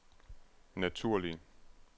naturlig